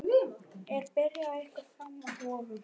Er byrjun ykkar framar vonum?